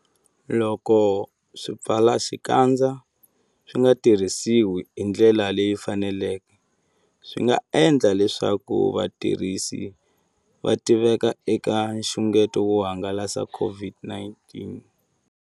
Loko swipfalaxikandza swi nga tirhisiwi hi ndlela leyi faneleke, swi nga endla leswaku vatirhisi va tiveka eka nxungeto wo hangalasa COVID-19.